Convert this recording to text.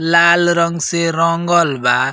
लाल रंग से रंगल बा।